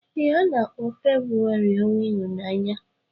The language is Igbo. Ee, a na-akpọ Febrụwarị ọnwa ịhụnanya.